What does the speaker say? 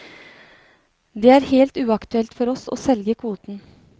Det er helt uaktuelt for oss å selge kvoten.